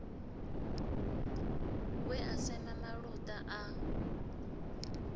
we a sema maluta a